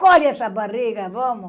Colhe essa barriga, vamos!